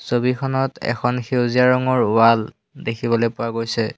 ছবিখনত এখন সেউজীয়া ৰঙৰ ৱাল দেখিবলৈ পোৱা গৈছে।